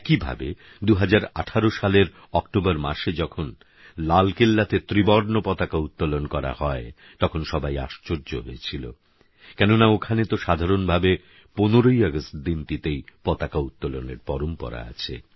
একইভাবে ২০১৮ সালের অক্টোবর মাসে যখন লালকেল্লাতে ত্রিবর্ণ পতাকা উত্তোলন করা হয় তখন সবাই আশ্চর্য হয়েছিল কেননা ওখানেতো সাধারণভাবে ১৫ই আগষ্ট দিনটিতেই পতাকা উত্তোলনের পরম্পরা আছে